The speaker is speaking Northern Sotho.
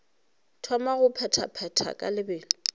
thoma go bethabetha ka lebelo